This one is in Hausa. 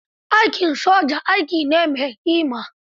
Aikin soja, aiki ne mai ƙima.